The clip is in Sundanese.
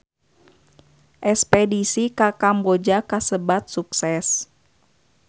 Espedisi ka Kamboja kasebat sukses